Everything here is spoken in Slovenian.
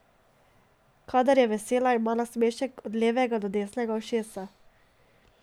Kadar je vesela, ima nasmešek od levega do desnega ušesa.